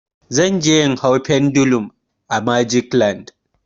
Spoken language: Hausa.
Zan je in hau pendulum a magic land.